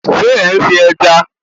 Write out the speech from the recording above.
Ṣe ń sin ẹja?